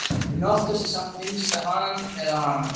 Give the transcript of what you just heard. En oftast er samt minnst á Hann eða Hana.